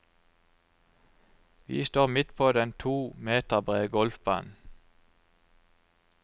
Vi står midt på den to meter brede golfbanen.